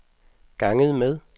ganget med